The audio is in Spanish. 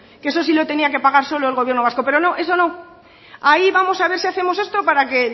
que eso sí que lo tenía que pagar solo el gobierno vasco pero no eso no ahí vamos a ver si hacemos esto para que